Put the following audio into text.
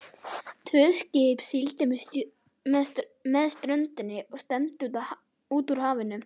Tvö skip sigldu með ströndinni og stefndu út úr hafinu.